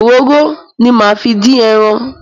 Òróró ni máa fi dín ẹran.